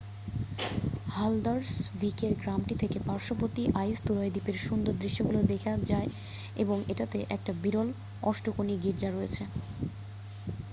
হালদারসভিকের গ্রামটি থেকে পার্শ্ববর্তী আইসতুরয় দ্বীপের সুন্দর দৃশ্যগুলো দেখা যায় এবং এটাতে একটা বিরল অষ্টকোণী গীর্জা রয়েছে